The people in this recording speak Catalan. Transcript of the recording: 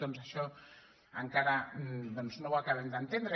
doncs això encara no ho acabem d’entendre